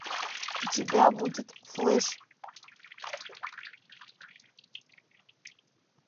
у тебя будет флэш